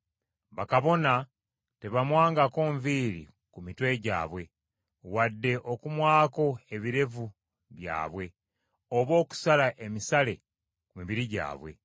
Bakabona tebamwangako nviiri ku mitwe gyabwe, wadde okumwako ebirevu byabwe, oba okusala emisale ku mibiri gyabwe.